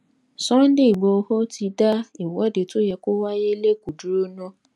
sunday igboro ti dá ìwọde tó yẹ kó wáyé lẹkọọ dúró ná